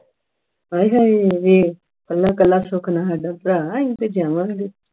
ਆਏ ਹਾਏ ਵੇਖ ਕੱਲਾ ਕੱਲਾ ਸੁੱਖ ਨਾਲ ਸਾਡਾ ਭਰਾ ਹੈ ਅਸੀਂ ਤਾਂ ਜਾਵਾਂਗੇ